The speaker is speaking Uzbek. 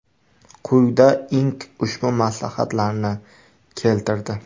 Quyida Inc ushbu maslahatlarni keltirdi .